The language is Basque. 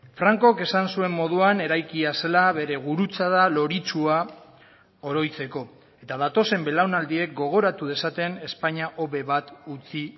francok esan zuen moduan eraikia zela bere gurutzada loritsua oroitzeko eta datozen belaunaldiek gogoratu dezaten espainia hobe bat utzi